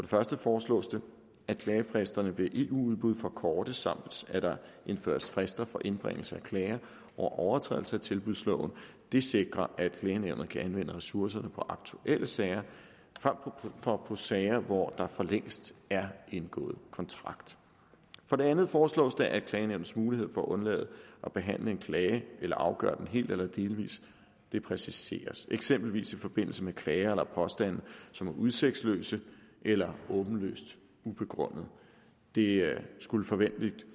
første foreslås det at klagefristerne ved eu udbud forkortes samt at der indføres frister for indbringelse af klager over overtrædelse af tilbudsloven det sikrer at klagenævnet kan anvende ressourcerne på aktuelle sager frem for på sager hvor der for længst er indgået kontrakt for det andet foreslås det at klagenævnets mulighed for at undlade at behandle en klage eller afgøre den helt eller delvis præciseres eksempelvis i forbindelse med klager eller påstande som er udsigtsløse eller åbenlyst ubegrundede det skulle forventeligt